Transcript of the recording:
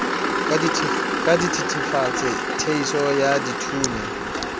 ka dithetefatsi theiso ya dithunya